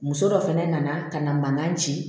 Muso dɔ fana nana ka na mankan ci